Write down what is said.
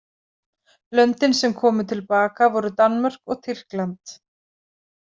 Löndin sem komu til baka voru Danmörk og Tyrkland.